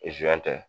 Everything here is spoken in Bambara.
tɛ